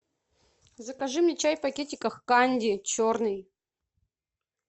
закажи мне чай в пакетиках канди черный